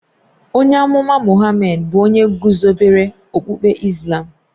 Onye amụma Mohammed bụ onye guzobere okpukpe Islàm